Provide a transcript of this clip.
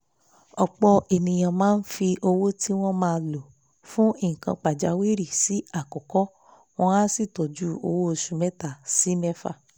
ọ̀pọ̀ èèyàn máa fi owó tí wọ́n máa lò fún nǹkan pàjáwìrì sí àkọ́kọ́ wọ́n á sì tọ́jú owó oṣù mẹ́ta sí mẹ́fà